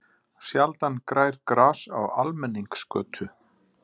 Sjaldan grær gras á almenningsgötu.